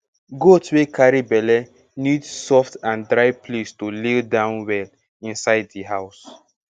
goat wey carry belle need soft and dry place to lie down well inside di house